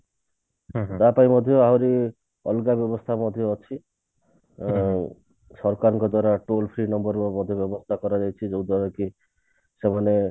ତା ପାଇଁ ମଧ୍ୟ ଆହୁରି ଅଲଗା ବ୍ୟବସ୍ତା ମଧ୍ୟ ଅଛି ଆଉ ସରକାରଙ୍କ ଦ୍ଵାରା toll-free number ର ବି ସୁବିଧା କରାଯାଇଛି ଯଦ୍ୱାରା କି ସେମାନେ